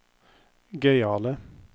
gøyale